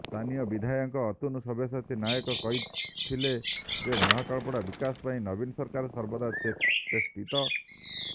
ସ୍ଥାନୀୟ ବିଧାୟକ ଅତନୁ ସବ୍ୟସାଚୀ ନାୟକ କହିଥିଲେ ଯେ ମହାକାଳପଡ଼ା ବିକାଶ ପାଇଁ ନବୀନ ସରକାର ସର୍ବଦା ଚେଷ୍ଟିତ